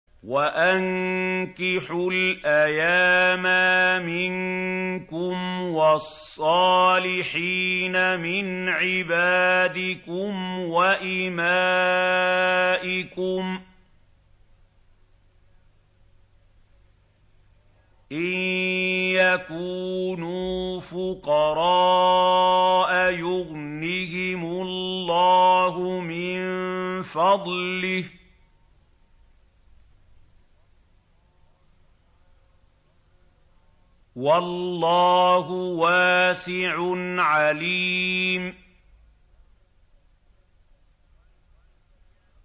وَأَنكِحُوا الْأَيَامَىٰ مِنكُمْ وَالصَّالِحِينَ مِنْ عِبَادِكُمْ وَإِمَائِكُمْ ۚ إِن يَكُونُوا فُقَرَاءَ يُغْنِهِمُ اللَّهُ مِن فَضْلِهِ ۗ وَاللَّهُ وَاسِعٌ عَلِيمٌ